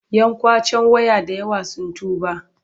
Yan ƙwacen waya da yawa sun tuba.